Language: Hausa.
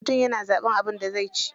Mutum yana zaɓan abin da zai ci.